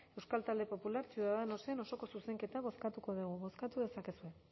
euskal talde popular ciudadanosen osoko zuzenketa bozkatuko dugu bozkatu dezakezue